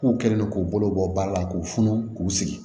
K'u kɛlen don k'u bolo bɔ ba la k'u funu k'u sigi